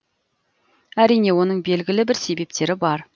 әрине оның белгілі бір себептері бар